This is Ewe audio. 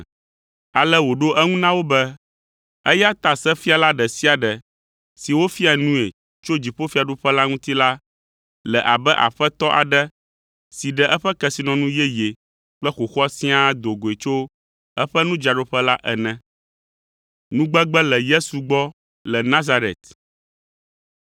Ale wòɖo eŋu na wo be, “Eya ta sefiala ɖe sia ɖe si wofia nui tso dziƒofiaɖuƒe la ŋuti la le abe aƒetɔ aɖe si ɖe eƒe kesinɔnu yeye kple xoxoa siaa do goe tso eƒe nudzraɖoƒe la ene.”